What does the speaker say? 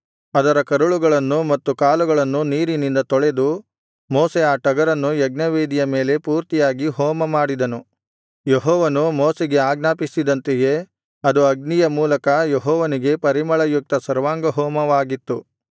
ಅದರ ಕರುಳುಗಳನ್ನು ಮತ್ತು ಕಾಲುಗಳನ್ನು ನೀರಿನಿಂದ ತೊಳೆದು ಮೋಶೆ ಆ ಟಗರನ್ನು ಯಜ್ಞವೇದಿಯ ಮೇಲೆ ಪೂರ್ತಿಯಾಗಿ ಹೋಮ ಮಾಡಿದನು ಯೆಹೋವನು ಮೋಶೆಗೆ ಆಜ್ಞಾಪಿಸಿದಂತೆಯೇ ಅದು ಅಗ್ನಿಯ ಮೂಲಕ ಯೆಹೋವನಿಗೆ ಪರಿಮಳಯುಕ್ತ ಸರ್ವಾಂಗಹೋಮವಾಗಿತ್ತು